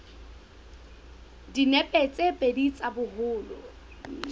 dinepe tse pedi tsa boholo